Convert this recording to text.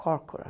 Corcoran.